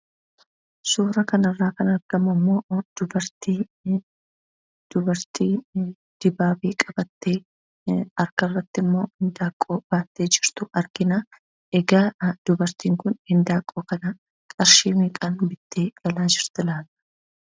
Suuraa kanarra, kan argamummoo dubartii dibaabee qabatte, harkarrattimmoo handaanqoo baattee jirtu argina. egaa dubartiin kun handaanqoo kana qarshii meeqan bitte galaa jirti laata?